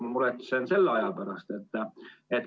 Ma muretsen selle aja pärast.